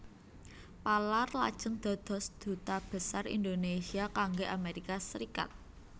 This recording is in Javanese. Palar lajeng dados Duta Besar Indonesia kangge Amerika Serikat